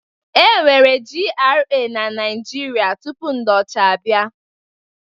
E nweghi GRA na Naịjirịa tupu ndị ọcha abịa.